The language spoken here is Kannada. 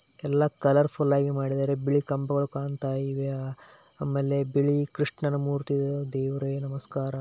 ಎಲ್ಲ ಕಲರಫುಲ್ ಆಗಿ ಮಾಡಿದರೆ ಬಿಳಿ ಕಂಬಗಳು ಕಾಣತ್ತಾ ಇವೆ. ಬಿಳಿ ಕೃಷ್ಣಮೂರ್ತಿ ದೇವರೇ ನಮಸ್ಕಾರ.